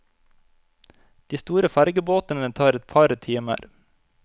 De store fergebåtene tar et par timer.